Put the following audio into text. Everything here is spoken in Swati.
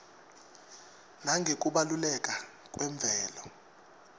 nangekubaluleka kwemvelo